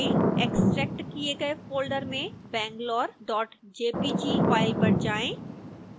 extract किए गए folder में bangalorejpg फाइल पर जाएं